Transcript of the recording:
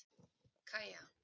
Kaja